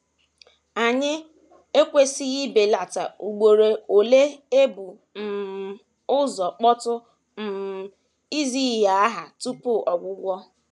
Anyị ekwesịghị ibelata ugboro ole e bu um ụzọ kpọtụ um izi ihe aha tupu ọgwụgwọ.